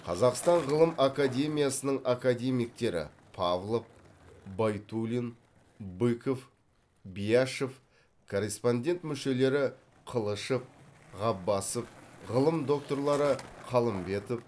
қазақстан ғылым академиясының академиктері павлов байтулин быков бияшев корреспондент мүшелері қылышев ғаббасов ғылым докторлары қалымбетов